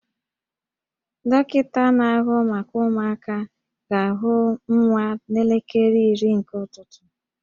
Dọkịta na-ahụ maka ụmụaka ga-ahụ nwa n'elekere iri nke ụtụtụ